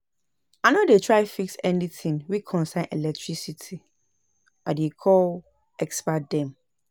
I no dey try fix anytin wey concern electricity, I dey call expert dem.